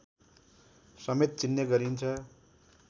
समेत चिन्ने गरिन्छ